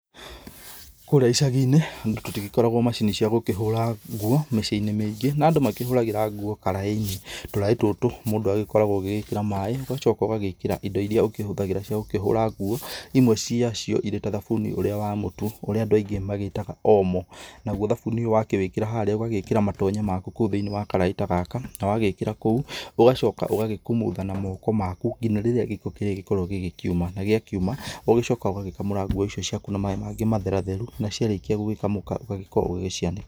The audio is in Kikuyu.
Kũrĩa icagi-inĩ tũtigĩkoragwo macini cia gũkĩhũra nguo mĩciĩ-inĩ mĩingĩ, na andũ makĩhũragĩra nguo karaĩ-inĩ. Tũraĩ tũtũ mũndũ agĩkoragwo agĩkĩra maĩ, ũgacoka ũgagĩkĩra indo iria ũkĩhũthagĩra cia gũkĩhũra nguo, imwe ciacio irĩ ta thabuni ũrĩa wa mũtu, ũrĩa andũ aingĩ magĩtaga Omo, naguo thabuni ũyũ wakĩwĩkĩra harĩa ũgagĩkĩra matonya maku kũu thĩiniĩ wa karaĩ ta gaka, na wagĩkĩra kũu, ũgacoka ũgagĩkumutha na moko maku nginya rĩrĩa gĩko gĩgũgĩkorwo gĩkiuma na gĩakiuma, ũgacoka ũgagĩkamũra nguo icio ciaku na maĩ mangĩ matheratheru, na ciarĩkia gũgĩkamũka ũgagĩkorwo ũgĩcianĩka.